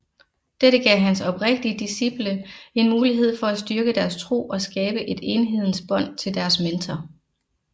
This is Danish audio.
Dette gav hans oprigtige disciple en mulighed for at styrke deres tro og skabe et enhedens bånd til deres mentor